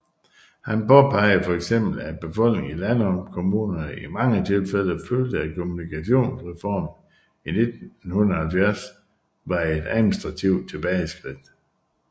Han påpegede for eksempel at befolkningen i landkommunerne i mange tilfælde følte at Kommunalreformen i 1970 var et administrativt tilbageskridt